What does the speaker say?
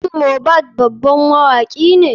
Shin mohbad baban mawakine?